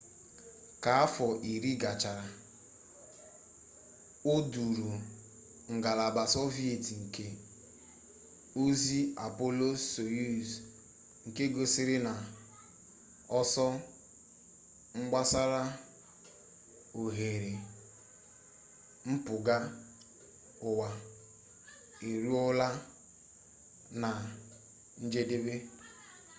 ka afọ iri gachara o duuru ngalaba sọviet nke ozi apolo soyuz nke gosiri na ọsọ gbasara oghere mpụga uwa eruola na njedebe